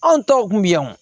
Anw tɔw kun bɛ yan o